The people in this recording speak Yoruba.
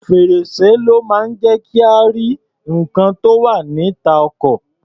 Fèr̀sé ló máa ń jẹ́ kí a rí nǹkan tó wá̀ níta ọkọ̀.